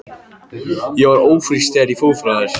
Ég var ófrísk þegar ég fór frá þér.